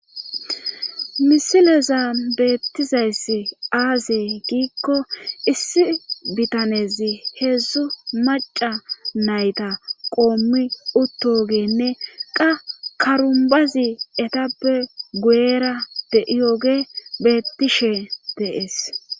misileza beettizayss aazey giikko issi bitanezi heedzdzu maca nayta qoommi uttogenne qa karumbazi etappe guera de7iyoge beettishe deees